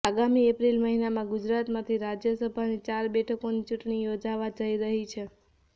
આગામી એપ્રિલ મહિનામાં ગુજરાતમાંથી રાજ્યસભાની ચાર બેઠકોની ચૂંટણી યોજાવા જઈ રહી છે